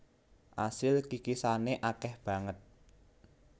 Asil kikisane akeh banget